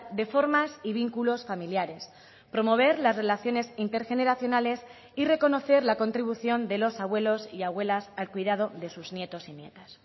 de formas y vínculos familiares promover las relaciones intergeneracionales y reconocer la contribución de los abuelos y abuelas al cuidado de sus nietos y nietas